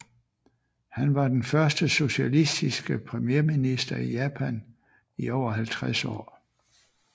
Han var den første socialistiske premierminister i Japan i over halvtreds år